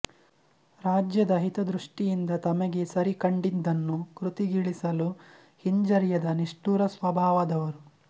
ರಾಜ್ಯದ ಹಿತದೃಷ್ಟಿಯಿಂದ ತಮಗೆ ಸರಿ ಕಂಡಿದ್ದನ್ನು ಕೃತಿಗಿಳಿಸಲು ಹಿಂಜರಿಯದ ನಿಷ್ಠುರ ಸ್ವಭಾವದವರು